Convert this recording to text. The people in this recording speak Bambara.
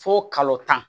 Fo kalo tan